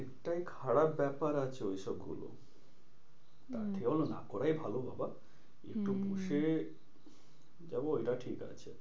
টাই খারাপ ব্যাপার আছে ঐসব গুলো। তার চেয়ে বরং না করে ভালো বাবা। হম একটু বসে যাবো ওইটা ঠিক আছে।